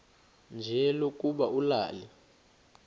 nje lokuba ulale